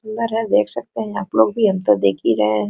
सुन्दर है देख सकते है आपलोग भी हम तो देख ही रहे है।